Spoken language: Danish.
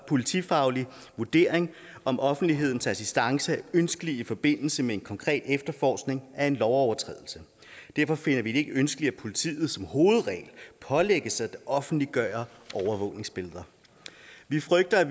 politifaglig vurdering om offentlighedens assistance er ønskelig i forbindelse med en konkret efterforskning af en lovovertrædelse derfor finder vi det ikke ønskeligt at politiet som hovedregel pålægges at offentliggøre overvågningsbilleder vi frygter at